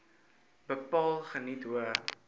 bepaal geniet hoë